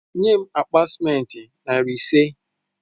Enye m akpa sịmentị narị ise